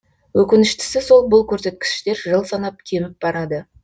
өкініштісі сол бұл көрсеткіштер жыл санап кеміп барады